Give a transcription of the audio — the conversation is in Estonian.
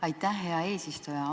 Aitäh, hea eesistuja!